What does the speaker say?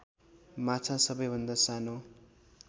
माछा सबैभन्दा सानो